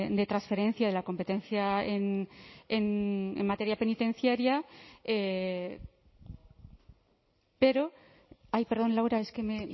de transferencia de la competencia en materia penitenciaria pero ay perdón laura es que me